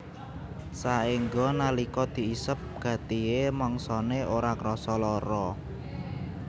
Saéngga nalika diisep gatihé mangsané ora krasa lara